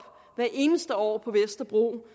hvert eneste år på vesterbro